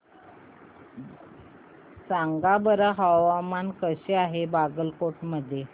सांगा बरं हवामान कसे आहे बागलकोट मध्ये